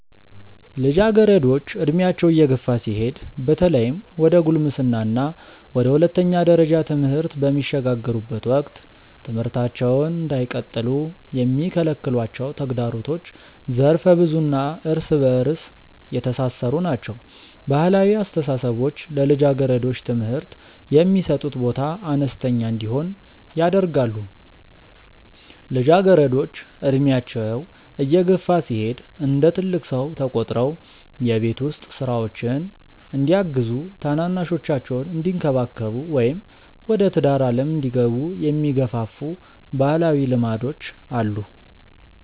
ልጃገረዶች ዕድሜያቸው እየገፋ ሲሄድ በተለይም ወደ ጉልምስና እና ወደ ሁለተኛ ደረጃ ትምህርት በሚሸጋገሩበት ወቅት ትምህርታቸውን እንዳይቀጥሉ የሚከለክሏቸው ተግዳሮቶች ዘርፈ-ብዙ እና እርስ በእርስ የተሳሰሩ ናቸው። ባህላዊ አስተሳሰቦች ለልጃገረዶች ትምህርት የሚሰጡት ቦታ አነስተኛ እንዲሆን ያደርጋሉ። ልጃገረዶች ዕድሜያቸው እየገፋ ሲሄድ እንደ ትልቅ ሰው ተቆጥረው የቤት ውስጥ ሥራዎችን እንዲያግዙ፣ ታናናሾቻቸውን እንዲንከባከቡ ወይም ወደ ትዳር ዓለም እንዲገቡ የሚገፋፉ ባህላዊ ልማዶች አሉ።